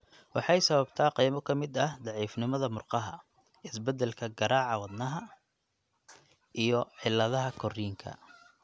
Waxay sababtaa qaybo ka mid ah daciifnimada murqaha, isbeddelka garaaca wadnaha (arrhythmia), iyo cilladaha korriinka.